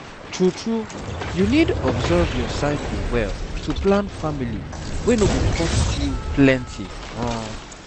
true true you need observe your cycle well to plan family wey no go cost you plenty um